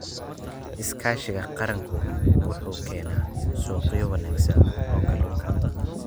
Iskaashiga qaranku wuxuu keenaa suuqyo wanaagsan oo kalluunka.